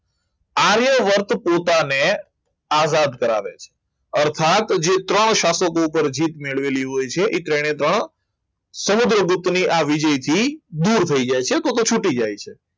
આર્યવર્ત પોતાને આઝાદ કરાવે છે અર્થાત જે ત્રણ શાસકો પર જીત મેળવેલી હોય છે એ ત્રણે ત્રણ સમુદ્રગુપ્ત ની આવવી જોઇએ તે દૂર થઈ જાય છે તો કે છૂટી જાય છે